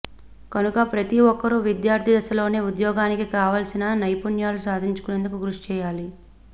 కనుక ప్రతి ఒక్కరూ విద్యార్థి దశలోనే ఉద్యోగానికి కావాల్సిన నైపుణ్యాలు సాధించేందుకు కృషి చేయాలి